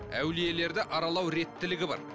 әулиелерді аралау реттілігі бар